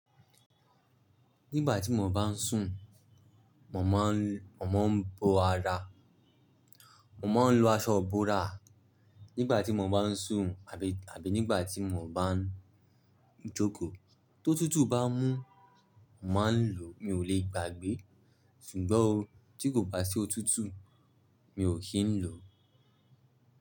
Nígbà tí mo bá ń sùn, mo máa ń, mo máa ń bo ara. Mo máa ń lo aṣọ iborà nígbà tí mo bá ń sùn àbí, àbí nígbà tí mo bá ń jókòó. Tó tútù bá mú, mà ń lò mi ò lè gbàgbé. Ṣùgbọ́n o, tí kò bá sí o tútù, mi ò kí ń lò.